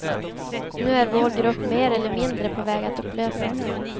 Nu är vår grupp mer eller mindre på väg att upplösas.